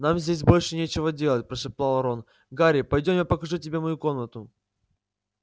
нам здесь больше нечего делать прошептал рон гарри пойдём я покажу тебе мою комнату